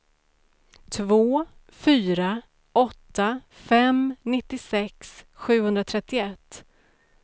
två fyra åtta fem nittiosex sjuhundratrettioett